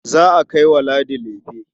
Za a kai wa Ladi lefe.